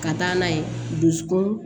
Ka taa n'a ye dusukun